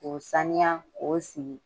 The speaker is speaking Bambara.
K'o k'o siri k'o sigi.